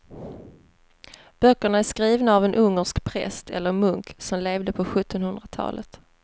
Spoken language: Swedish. Böckerna är skrivna av en ungersk präst eller munk som levde på sjuttonhundratalet.